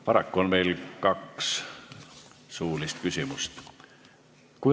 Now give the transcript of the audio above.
Paraku on meil võimalik esitada kaks suulist küsimust.